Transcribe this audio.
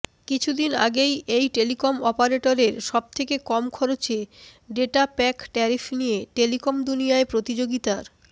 কিছুদিন আগেই এই টেলিকম অপারেটরের সবথেকে কম খরচে ডেটা প্যাক ট্যারিফ নিয়ে টেলিকম দুনিয়ায় প্রতিযোগিতার